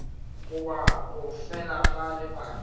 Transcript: goba go fela ga lebaka